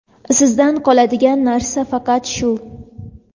Sizdan qoladigan narsa faqat shu.